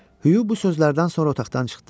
Hugh bu sözlərdən sonra otaqdan çıxdı.